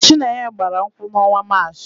Chinenye gbara nkwụ n'ọnwa Maachị.